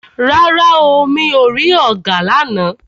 Rárá o, mi ò rí ọ̀gà lána.